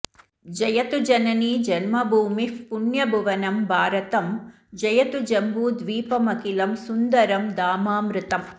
जयतु जननी जन्मभूमिः पुण्यभुवनं भारतं जयतु जम्बूद्वीपमखिलं सुन्दरं धामामृतम्